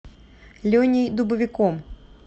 леней дубовиком